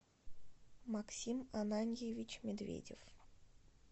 максим ананьевич медведев